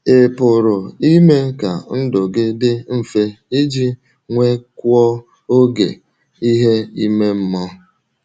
Ị̀ pụrụ ime ka ndụ gị dị mfe iji nwekwuo oge maka ihe ime mmụọ?